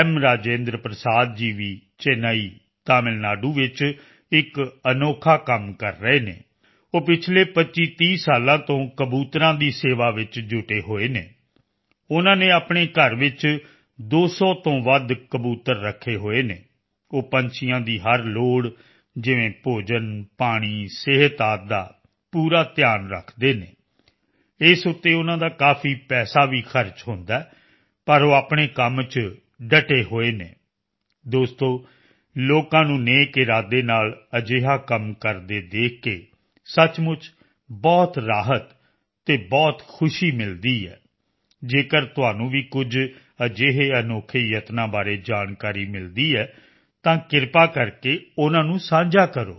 ਰਾਜੇਂਦਰ ਪ੍ਰਸਾਦ ਜੀ ਵੀ ਚੇਨਈ ਤਾਮਿਲਨਾਡੂ ਵਿੱਚ ਇੱਕ ਅਨੋਖਾ ਕੰਮ ਕਰ ਰਹੇ ਹਨ ਉਹ ਪਿਛਲੇ 2530 ਸਾਲਾਂ ਤੋਂ ਕਬੂਤਰਾਂ ਦੀ ਸੇਵਾ ਵਿੱਚ ਜੁਟੇ ਹੋਏ ਹਨ ਉਸ ਨੇ ਆਪਣੇ ਘਰ ਵਿੱਚ 200 ਤੋਂ ਵੱਧ ਕਬੂਤਰ ਰੱਖੇ ਹੋਏ ਹਨ ਉਹ ਪੰਛੀਆਂ ਦੀ ਹਰ ਜ਼ਰੂਰਤ ਜਿਵੇਂ ਭੋਜਨ ਪਾਣੀ ਸਿਹਤ ਆਦਿ ਦਾ ਪੂਰਾ ਧਿਆਨ ਰੱਖਦੇ ਹਨ ਇਸ ਤੇ ਉਨ੍ਹਾਂ ਦਾ ਕਾਫੀ ਪੈਸਾ ਵੀ ਖਰਚ ਹੁੰਦਾ ਹੈ ਪਰ ਉਹ ਆਪਣੇ ਕੰਮ ਚ ਡਟੇ ਹੋਏ ਹਨ ਦੋਸਤੋ ਲੋਕਾਂ ਨੂੰ ਨੇਕ ਇਰਾਦੇ ਨਾਲ ਅਜਿਹਾ ਕੰਮ ਕਰਦੇ ਦੇਖ ਕੇ ਸੱਚਮੁੱਚ ਬਹੁਤ ਰਾਹਤ ਅਤੇ ਬਹੁਤ ਖੁਸ਼ੀ ਮਿਲਦੀ ਹੈ ਜੇਕਰ ਤੁਹਾਨੂੰ ਵੀ ਕੁਝ ਅਜਿਹੇ ਅਨੋਖੇ ਯਤਨਾਂ ਬਾਰੇ ਜਾਣਕਾਰੀ ਮਿਲਦੀ ਹੈ ਤਾਂ ਕਿਰਪਾ ਕਰਕੇ ਉਨ੍ਹਾਂ ਨੂੰ ਸਾਂਝਾ ਕਰੋ